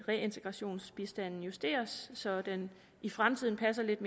reintegrationsbistanden justeres så den i fremtiden passer lidt